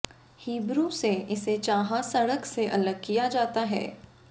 Hebrew से इसे चाहा सड़क से अलग किया जाता है